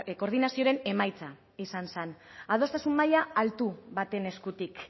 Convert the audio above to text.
koordinazioaren emaitza izan zen adostasun maila altu baten eskutik